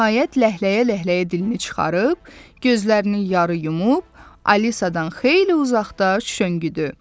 Nəhayət, ləhləyə-ləhləyə dilini çıxarıb, gözlərini yarı yumub, Alisadan xeyli uzaqda şüşöngüdü.